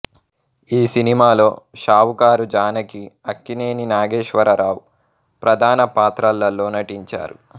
ఈ సినిమాలో షావుకారు జానకి అక్కినేని నాగేశ్వరరావు ప్రధాన పాత్రలలో నటించారు